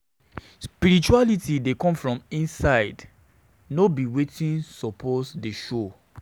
Spirituality dey come from inside, come from inside, no be wetin you suppose dey show.